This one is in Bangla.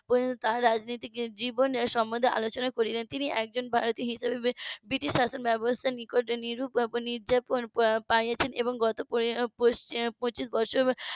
তার রাজনীতির জীবনের সম্মন্ধে আলোচোনা করিলেন তিনি একজন ভারতীয় হিসাবে ব্রিটিশ শাসন ব্যাবস্থার নিকটে নির্মম নির্যাতন পাইয়াছেন এবং গত পঁচিশ বছর